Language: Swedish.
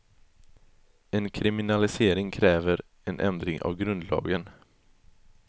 En kriminalisering kräver en ändring av grundlagen.